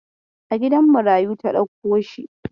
A gidan marayu ta dauko shi.